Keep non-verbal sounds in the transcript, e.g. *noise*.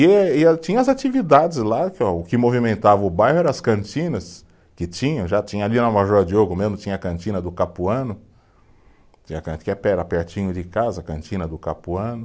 E e, tinha as atividades lá, que é o que movimentava o bairro era as cantinas, que tinha, já tinha ali na Major Diogo mesmo tinha a cantina do Capuano, *unintelligible* que *unintelligible* era pertinho de casa, a cantina do Capuano.